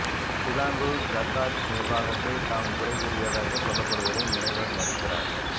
Selangor ஜக்காத் நிர்வாகத்தை தாம் குறை கூறியதாக சொல்லப்படுவதை முனைவர் மறுக்கிறார்